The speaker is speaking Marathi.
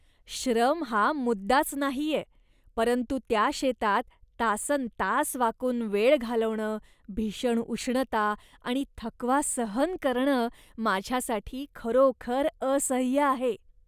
श्रम हा मुद्दाच नाहीये, परंतु त्या शेतात तासन्तास वाकून वेळ घालवणं, भीषण उष्णता आणि थकवा सहन करणं, माझ्यासाठी खरोखर असह्य आहे.